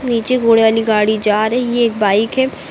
नीचे कूड़े वाली गाड़ी जा रही है एक बाइक है।